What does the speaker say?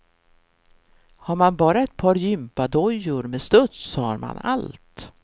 Har man bara ett par jympadojor med studs har man allt.